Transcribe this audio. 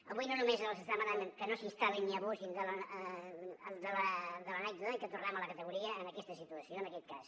avui no només els demanem que no s’hi instal·lin ni abusin de l’anècdota i que tornem a la categoria en aquesta situació en aquest cas